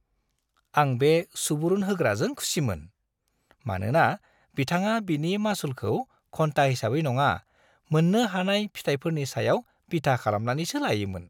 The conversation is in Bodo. आं बे सुबुरुन होग्राजों खुसिमोन, मानोना बिथाङा बिनि मासुलखौ घन्टा हिसाबै नङा, मोन्नो हानाय फिथायफोरनि सायाव बिथा खालामनानैसो लायोमोन।